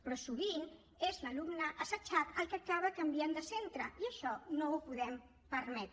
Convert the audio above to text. però sovint és l’alumne assetjat el que acaba canviant de centre i això no ho podem permetre